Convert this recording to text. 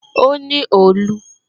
O ní òòlù